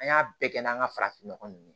An y'a bɛɛ kɛ n'an ka farafinnɔgɔ ninnu